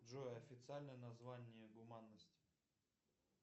джой официальное название гуманность